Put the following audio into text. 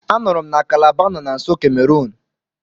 Anụrụ m na Kalaba nọ na nso Kemerun.